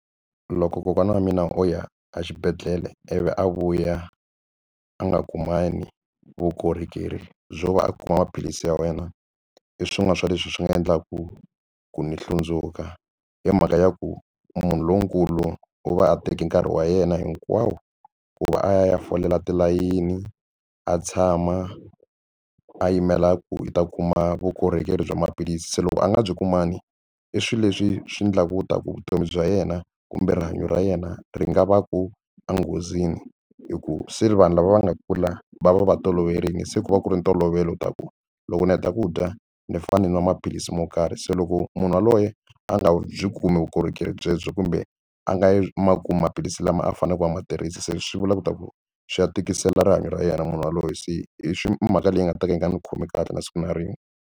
Loko kokwana wa mina o ya exibedhlele ivi a vuya a nga kumani vukorhokeri byo va a kuma maphilisi ya wena i swin'wana swa leswi swi nga endlaka ku ni hlundzuka hi mhaka ya ku munhu lonkulu u va a teke nkarhi wa yena hinkwawo ku va a ya folela tilayini a tshama a yimela ku u ta kuma vukorhokeri bya maphilisi se loko a nga byi kumangi i swilo leswi swi endla ku ta vutomi bya yena kumbe rihanyo ra yena ri nga va ku enghozini hi ku se vanhu lava va nga kula va va va toloverile se ku va ku ri ntolovelo ta ku loko ni heta ku dya ni fane ni nwa maphilisi mo karhi se loko munhu yaloye a nga byi kumi vukorhokeri byebyo kumbe a nga yi ma kumi maphilisi lama a faneleke a ma tirhisi se swi vula ku ta ku swi ya tikisela rihanyo ra yena munhu yaloye se i swi mhaka leyi nga ta ka yi nga ndzi khomi kahle na siku na rin'we.